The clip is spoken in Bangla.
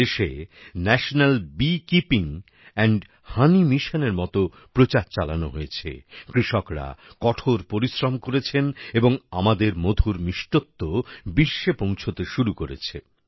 দেশে ন্যাশনাল বিকিপিং এন্ড হোনি মিশনের মতো প্রচার চালানো হয়েছে কৃষকরা কঠোর পরিশ্রম করেছেন এবং আমাদের মধুর মিষ্টত্ব বিশ্বে পৌঁছাতে শুরু করেছে